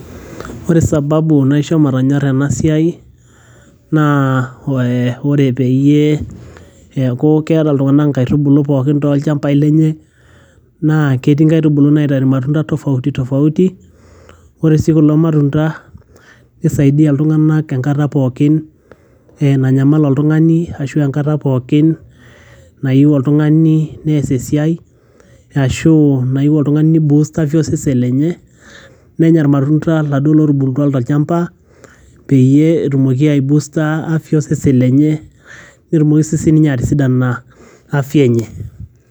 Ore sababu naisho matanyora enasia naa ee ore peyie eaku keeta ltunganak nkaitubulu pookin tolchambai lenye naa ketii nkaitubulu naitau irmatunda tofauti tofauti ,ore si kulo matunda kisaidia ltunganak enkata pookin nanyamal oltungani ashu enkata pookin nayieu oltungani neas esiai ashu nayieu oltungani nei boost osesen lenye nenya irmatunda laduo latubulutua tolchamba peyie etumoki aibusta osesen lenye ,petumoki osesen lenye lenye atisidana afya enye.